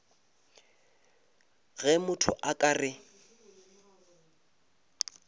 ge motho a ka re